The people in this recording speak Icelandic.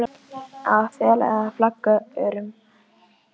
spyr Svenni varfærnislega þegar þeir eru komnir út úr húsinu.